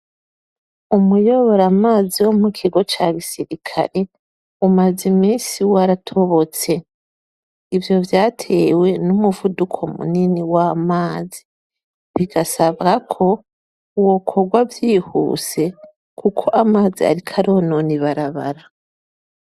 Umuyoboramazi wo mu kigo ca gisirikare umaze imisi waratobotse , ivyo vyatewe n'umuvuduko munini w'amazi bigasabwa ko wokorwa vyihuse kuko amazi ariko aronona ibarabara.